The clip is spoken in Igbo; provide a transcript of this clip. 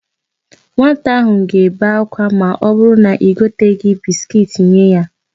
Nwata áhụ̀ ga-ebe ákwá ma ọbụrụ na i goteghi bisikiiti nye ya.